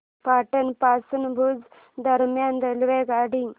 पाटण पासून भुज दरम्यान रेल्वेगाडी